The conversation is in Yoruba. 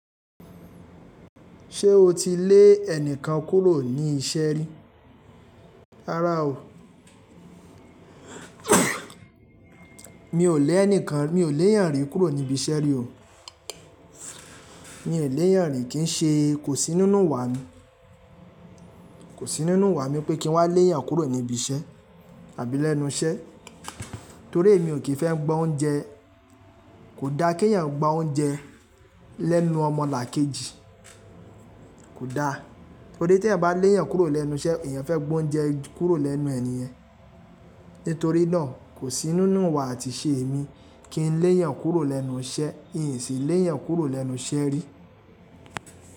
Ṣé o ti lé ẹnikan kúrò ní iṣẹ́ rí? Rárá o. Mi ò lẹ́ ẹnikan, mi ò lé èèyàn rí kúrò níbi iṣẹ́ rí o. Mi ò lè èèyàn rí, kí n ṣe, kò sí nínú wa mi, kò sí nínú ìwà mi pé kí n wá lé èyàn kúrò níbi iṣẹ́ tàbí lẹ́nu iṣẹ́. Torí èmi ò kín fẹ́ gba oúnjẹ, kò da kí èèyàn gba oúnjẹ lẹ́nu ọmọlàkejì, kò da. Torí tí èèyàn bá lé èèyàn kúrò lẹ́nu iṣẹ́, èèyàn fẹ́ gba oúnjẹ kúrò lẹ́nu ẹ̀ nìyẹn. Nítorí náà kò sí nínú ìwà àti ìṣe èmi kí n lé'eyàn kúrò lẹ́nu iṣẹ́, ìn sì lé'eyàn kúrò lẹ́nu iṣẹ́ rí.